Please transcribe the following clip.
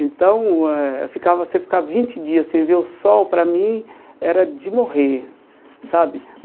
Então, eh ficava você ficar vinte dias sem ver o sol, para mim, era de morrer sabe.